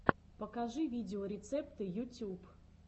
покажи видеорецепты ютюб